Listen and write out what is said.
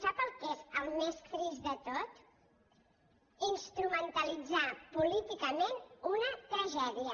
sap el que és el més trist de tot instrumentalitzar políticament una tragèdia